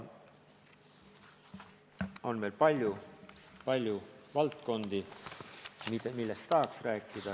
On veel palju valdkondi, millest tahaks rääkida.